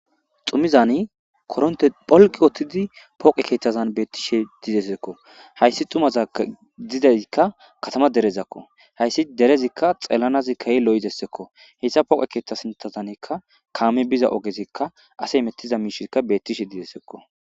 Xumizani koronte pholqi wottidi poqe keeththazan beettishe didesekko hayssi tumaza didezikka katama derezakko hayssi derezikka xellanazi kayi lo7dessekko hessa pooqe keeththa sintazanikka kaame biza ogezikka ase mettiza miishikka bettishe didessekko.